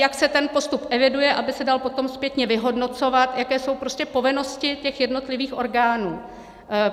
jak se ten postup eviduje, aby se dal potom zpětně vyhodnocovat; jaké jsou prostě povinnosti těch jednotlivých orgánů.